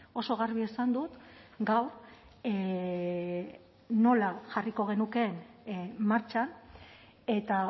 oso garbi esan dut gaur nola jarriko genukeen martxan eta